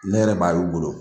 Ne yɛrɛ b'a y'u bolo.